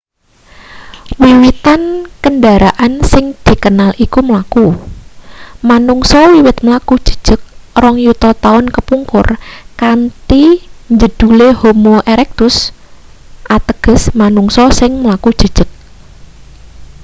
wiwitan kendharaan sing dikenal iku mlaku manungsa wiwit mlaku jejeg rong yuta taun kapungkur kanthi njedhule homo erectus ateges manungsa sing mlaku jejeg